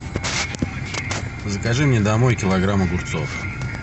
закажи мне домой килограмм огурцов